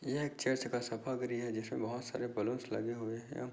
यह एक चर्च का सभागिरि हैं जिसमें बहुत सारे बैलून्स लगे हुए हैं।